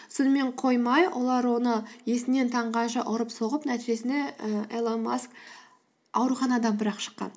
сонымен қоймай олар оны есінен таңғанша ұрып соғып нәтижесінде і илон маск ауруханадан бірақ шыққан